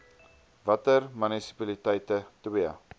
watter munisipaliteite ii